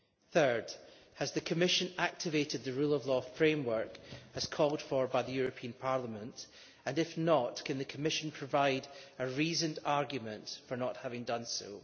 Third, has the Commission activated the Rule of Law Framework as called for by the European Parliament, and if not, can the Commission provide a reasoned argument for not having done so?